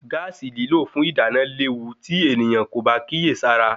Gaasi lílò fún ìdáná léwu tí ènìyàn kò bá kíyèsára